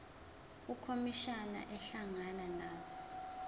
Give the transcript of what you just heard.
ukhomishana ehlangana nazo